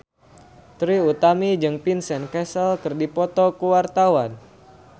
Trie Utami jeung Vincent Cassel keur dipoto ku wartawan